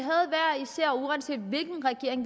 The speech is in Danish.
især uanset hvilken regering